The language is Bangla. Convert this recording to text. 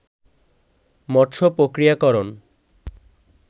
মৎস্য প্রক্রিয়াকরণ